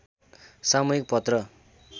सामूहिक पत्र